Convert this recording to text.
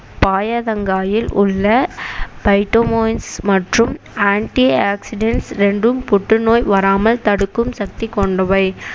பயத்தங்காயில் உள்ள பைடோமொயின் மற்றும் ஆன்டிஆக்ஸிடண்ட்ஸ் இரண்டும் புற்றுநோய் வராமல் தடுக்கும் சக்தி கொண்டவை